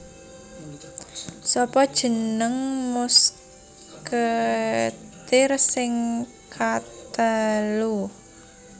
Sapa jeneng musketeer sing katelu